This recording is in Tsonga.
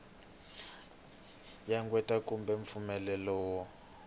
ya qweta kumbe mpfumelelo wo